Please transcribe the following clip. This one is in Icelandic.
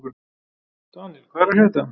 Daníel, hvað er að frétta?